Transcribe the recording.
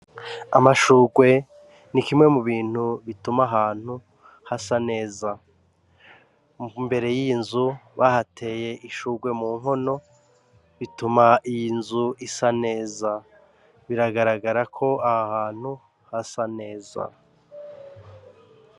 Amashurwe ni kimwe mu bintu bituma ahantu hasa neza mu mbere y'inzu bahateye ishurwe mu nkono bituma iy inzu isa neza biragaragara ko aho hantu hasa neza.